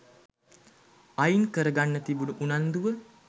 අයින්කරගන්න තිබුන උනන්දුව